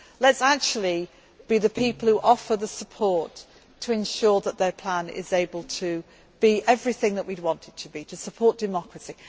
that. Let us actually be the people who offer the support to ensure that their plan is able to be everything that we would want it to be to support democracy.